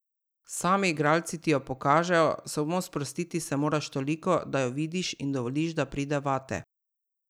Sami igralci ti jo pokažejo, samo sprostiti se moraš toliko, da jo vidiš in dovoliš, da pride vate.